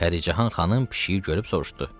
Pəricahan xanım pişiyi görüb soruşdu: